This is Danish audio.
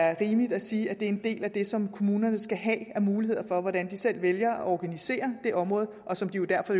er rimeligt at sige at det er en del af det som kommunerne skal have af muligheder for hvordan de selv vælger at organisere det område og som de jo derfor